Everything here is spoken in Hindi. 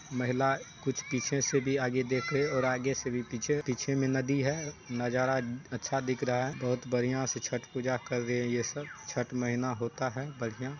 महिला कुछ पीछे से भी आगे देख रहे और आगे से भी पीछे पीछे मे नदी है नजारा अच्छा दिख रहा हैबहुत बढ़िया से छट पूजा कर रहे है ये सब छठ महीना होता है बढ़िया।